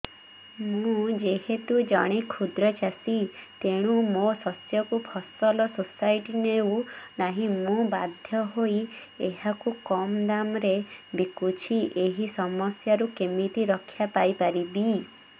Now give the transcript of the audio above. ମୁଁ ଯେହେତୁ ଜଣେ କ୍ଷୁଦ୍ର ଚାଷୀ ତେଣୁ ମୋ ଶସ୍ୟକୁ ଫସଲ ସୋସାଇଟି ନେଉ ନାହିଁ ମୁ ବାଧ୍ୟ ହୋଇ ଏହାକୁ କମ୍ ଦାମ୍ ରେ ବିକୁଛି ଏହି ସମସ୍ୟାରୁ କେମିତି ରକ୍ଷାପାଇ ପାରିବି